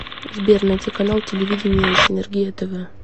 сбер найти канал телевидения синергия тв